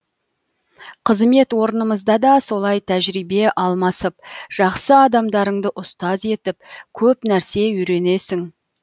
қызмет орнымызда да солай тәжірибе алмасып жақсы адамдарыңды ұстаз етіп көп нәрсе үйренесің